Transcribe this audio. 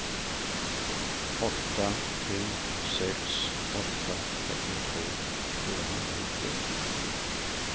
åtta tre sex åtta trettiotvå fyrahundranittioett